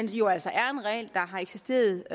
jo altså er en regel der har eksisteret